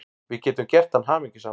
Við getum gert hann hamingjusaman.